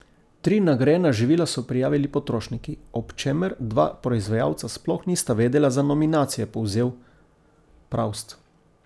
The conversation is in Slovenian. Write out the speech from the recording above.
Tri nagrajena živila so prijavili potrošniki, ob čemer dva proizvajalca sploh nista vedela za nominacijo, je povzel Pravst.